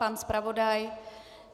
Pan zpravodaj?